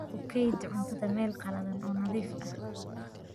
Ku kaydi cuntada meel qalalan oo nadiif ah.